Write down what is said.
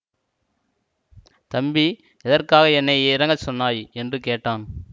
தம்பி எதற்காக என்னை இறங்கச் சொன்னாய் என்று கேட்டான்